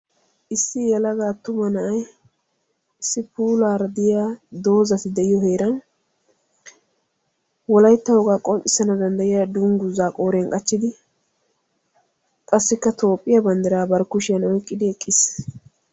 Issi yelaga attuma na'ay issi puulaara de'iyaa doozatidiyoo heeran wolaytta wogaa qonccissana danddyiyaa dunguzaa bari qooriyaan qachchidi qassikka toophphiyaa banddiraa oyqqidi eqqiis.